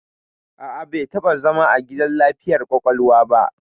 A'a, bai taɓa zama a gidan lafiyar ƙwaƙwalwa ba.